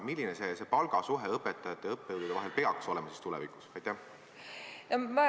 Milline see palgasuhe õpetajate ja õppejõudude vahel tulevikus peaks olema?